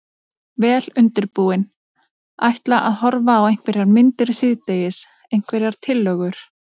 Vel undirbúinn. ætla að horfa á einhverjar myndir síðdegis, einhverjar tillögur?